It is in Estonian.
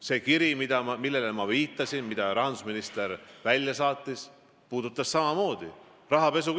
See kiri, millele ma viitasin ja mille rahandusminister välja saatis, puudutas samamoodi rahapesu.